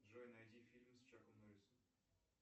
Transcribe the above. джой найди фильм с чаком норрисом